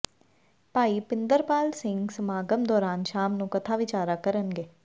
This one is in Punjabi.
ਭਾਈ ਪਿੰਦਰਪਾਲ ਸਿੰਘ ਸਮਾਗਮ ਦੌਰਾਨ ਸ਼ਾਮ ਨੂੰ ਕਥਾ ਵਿਚਾਰਾਂ ਕਰਨਗੇ